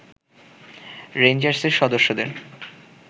রেঞ্জার্সের সদস্যদের